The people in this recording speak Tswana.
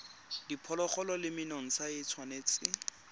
diphologolo le menontsha e tshwanetse